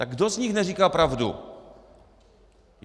Tak kdo z nich neříká pravdu?